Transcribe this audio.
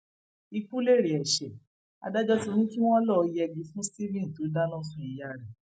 ikú lèrè ẹṣẹ adájọ ti ní kí wọn lọọ yẹgi fún stephen tó dáná sun ìyá rẹ